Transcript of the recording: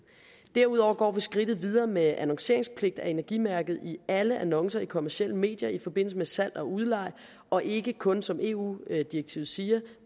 derudover går vi skridtet videre med hensyn til annonceringspligt af energimærket i alle annoncer i kommercielle medier i forbindelse med salg og udlejning og ikke kun som eu direktivet siger